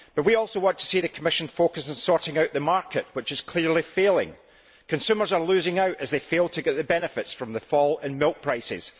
We also want to see the Commission focused on sorting out the market, which is clearly failing. Consumers are losing out as they fail to get the benefits from the fall in milk prices.